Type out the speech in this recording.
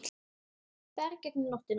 Ferð gegnum nóttina